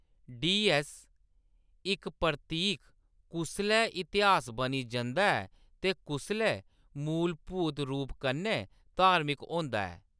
D S: इक प्रतीक कुसलै इतिहास बनी जंदा ऐ ते कुसलै मूलभूत रूप कन्नै धार्मिक होंदा ऐ ?